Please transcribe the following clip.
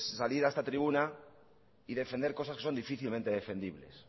salir a esta tribuna y defender cosas que son difícilmente defendibles